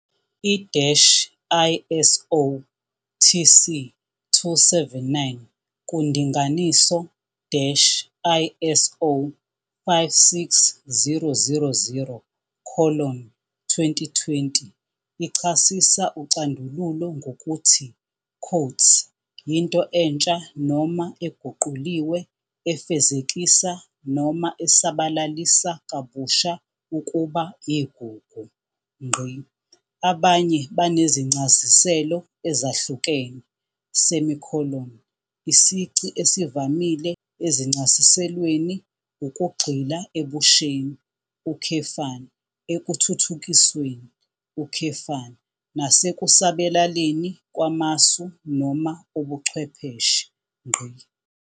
I-ISO TC 279 kundinganiso-ISO 56000-2020 ichasisa ucandululo ngokuthi "yinto entsha noma eguquliwe efezekisa noma esabalalisa kabusha ukuba igugu". Abanye banezincasiselo ezahlukene, isici esivamile ezincasiselweni ukugxila ebusheni, ekuthuthukisweni, nasekusabalaleni kwamasu noma ubuchwepheshe.